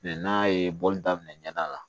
n'a ye bɔli daminɛ ɲɛda la